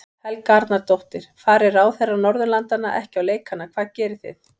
Helga Arnardóttir: Fari ráðherrar Norðurlandanna ekki á leikana hvað gerið þið?